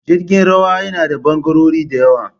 Jirgin ruwa yana da ɓangarori da yawa